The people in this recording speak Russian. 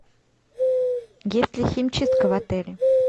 есть ли химчистка в отеле